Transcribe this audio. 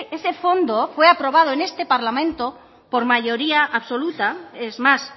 ese fondo fue aprobado en este parlamento por mayoría absoluta es más